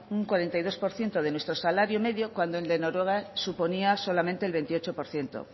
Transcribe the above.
un cuarenta y dos por ciento de nuestro salario medio cuando el de noruega suponía solamente el veintiocho por ciento